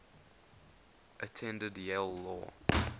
attended yale law